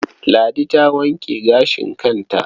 Ladi ta wanke gashin kanta.